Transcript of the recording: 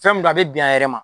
Fɛn mun d'a bɛ bin a yɛrɛ ma